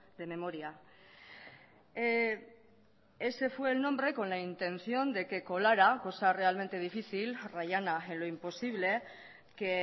de memoria ese fue el nombre con la intención de que colara cosa realmente difícil rayana en lo imposible que